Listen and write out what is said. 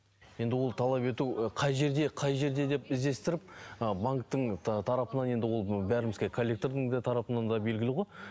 енді ол талап ету қай жерде қай жерде деп іздестіріп ы банктің тарапынан енді ол бәрімізге коллектордың де тарапынан да белгілі ғой